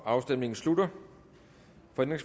afstemningen slutter